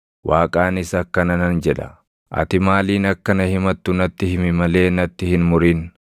Waaqaanis akkana nan jedha: Ati maaliin akka na himattu natti himi malee natti hin murin.